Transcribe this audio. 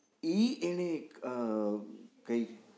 ઈ એને અ કઈશ